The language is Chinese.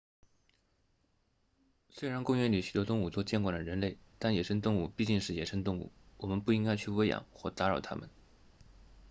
虽然公园里许多动物都见惯了人类但野生动物毕竟是野生动物我们不应该去喂养或打扰它们